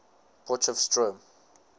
potchefstroom